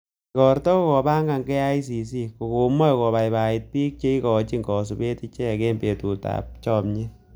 Igorto ko kopang'an KICC, ko komoe kobaibai bik che ikonchin kosubet ichek en betut ab chomyet.